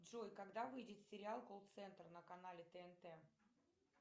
джой когда выйдет сериал колл центр на канале тнт